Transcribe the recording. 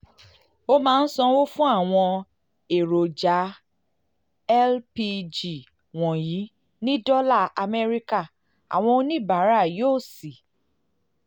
a máa ń sanwó fún àwọn èròjà lpg wọ̀nyí ní dọ́là amẹ́ríkà àwọn oníbàárà yóò sì